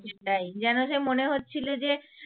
সেটাই যেন যে মনে হচ্ছিল যে